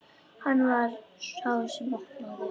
Hann var sá sem opnaði.